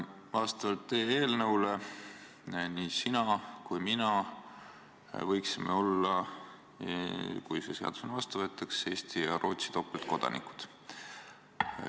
Vastavalt teie eelnõule võiksime nii sina kui mina olla – kui see seadus vastu võetakse – Eesti ja Rootsi topeltkodanikud.